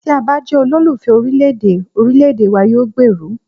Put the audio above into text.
Tí a bá jẹ́ olólùfẹ́ orílẹ̀ èdè, orílẹ̀èdè wa yóò gbèrú.